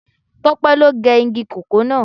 Tope lo ge igi kòkó náà